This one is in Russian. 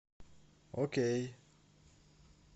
окей